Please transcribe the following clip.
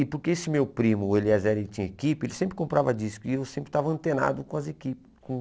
E porque esse meu primo, Eliezer ele tinha equipe, ele sempre comprava discos e eu sempre estava antenado com as equipes com.